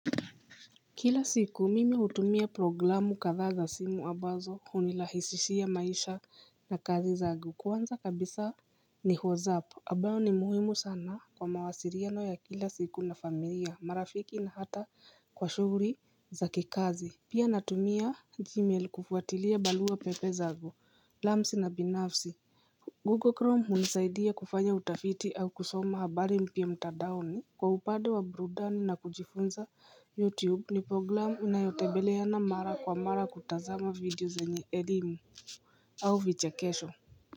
Kila siku mimi hutumia programu kathaza simu abazo hunilahisishia maisha na kazi zangu kwanza kabisa ni WhatsApp ambayo ni muhimu sana kwa mawasiriano ya kila siku na familia marafiki na hata kwa shghuuri za kikazi Pia natumia gmail kufuatilia balua pepe zangu lamsi na binafsi Google Chrome hunisaidia kufanya utafiti au kusoma habari mpya mtadaoni Kwa upade wa brudani na kujifunza youtube ni programu unayotebeleana mara kwa mara kutazama video zenye elimu au vichekesho.